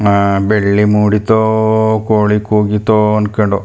ಅಹ್ ಬೆಳ್ಳಿಮುಡಿತೋ ಕೋಳಿ ಕೂಗಿತೋ ಅನ್ಕೊಂಡು --